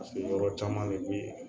Yɔrɔ caman de bi